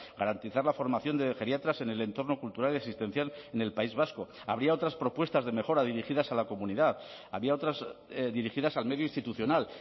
garantizar la formación de geriatras en el entorno cultural y asistencial en el país vasco habría otras propuestas de mejora dirigidas a la comunidad había otras dirigidas al medio institucional